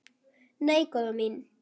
Nei, góða mín.